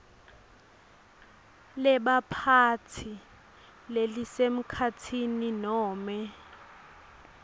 lebaphatsi lelisemkhatsini nome